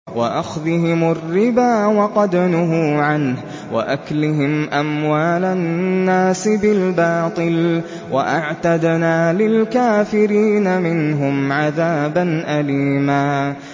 وَأَخْذِهِمُ الرِّبَا وَقَدْ نُهُوا عَنْهُ وَأَكْلِهِمْ أَمْوَالَ النَّاسِ بِالْبَاطِلِ ۚ وَأَعْتَدْنَا لِلْكَافِرِينَ مِنْهُمْ عَذَابًا أَلِيمًا